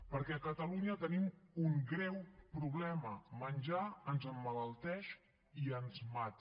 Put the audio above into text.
perquè a catalunya tenim un greu problema menjar ens emmalalteix i ens mata